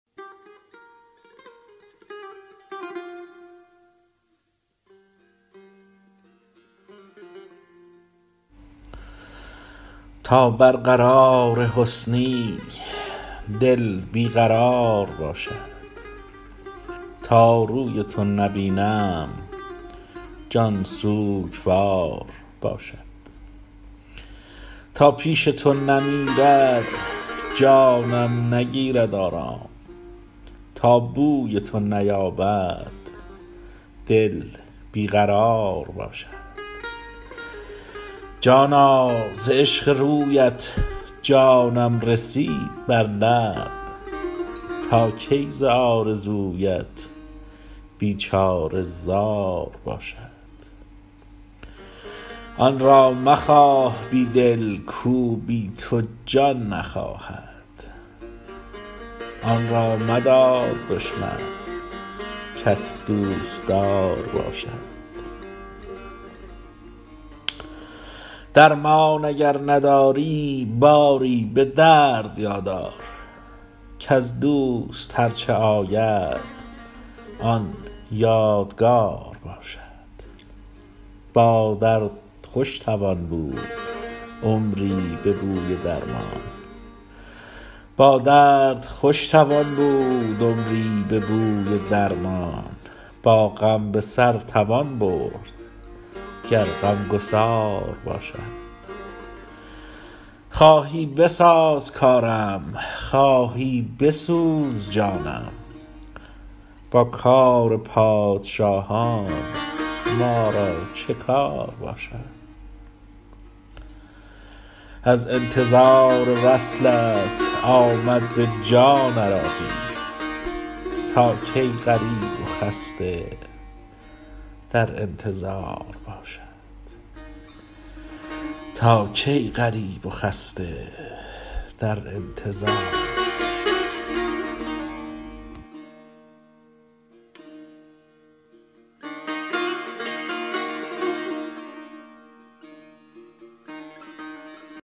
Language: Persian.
تا بر قرار حسنی دل بی قرار باشد تا روی تو نبینم جان سوگوار باشد تا پیش تو نمیرد جانم نگیرد آرام تا بوی تو نیابد دل بی قرار باشد جانا ز عشق رویت جانم رسید بر لب تا کی ز آرزویت بیچاره زار باشد آن را مخواه بی دل کو بی تو جان نخواهد آن را مدار دشمن کت دوستدار باشد درمان اگر نداری باری به درد یاد آر کز دوست هرچه آید آن یادگار باشد با درد خوش توان بود عمری به بوی درمان با غم بسر توان برد گر غمگسار باشد خواهی بساز کارم خواهی بسوز جانم با کار پادشاهان ما را چه کار باشد از انتظار وصلت آمد به جان عراقی تا کی غریب و خسته در انتظار باشد